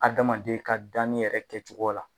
Adamaden ka danni yɛrɛ kɛcogo la